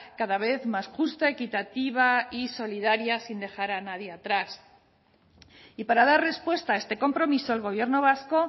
cada vez más justa equitativa y solidaria sin dejar a nadie atrás y para dar respuesta a este compromiso el gobierno vasco